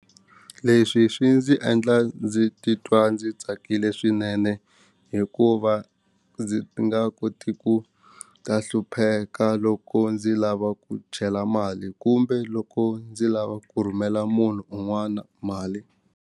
Leswi swi ndzi endla ndzi titwa ndzi tsakile swinene hikuva ndzi nga koti ku ta hlupheka loko ndzi lava ku chela mali kumbe loko ndzi lava ku rhumela munhu un'wana mali.